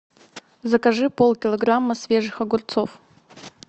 закажи полкилограмма свежих огурцов